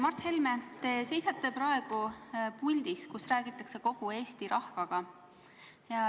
Mart Helme, te seisate praegu puldis, kus räägitakse kogu Eesti rahvaga.